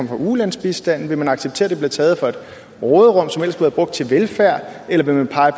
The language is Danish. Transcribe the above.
fra ulandsbistanden vil man acceptere at den bliver taget fra et råderum som have været brugt til velfærd eller vil man pege